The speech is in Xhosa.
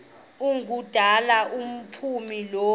ngumdala engaphumi kulo